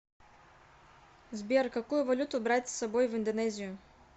сбер какую валюту брать с собой в индонезию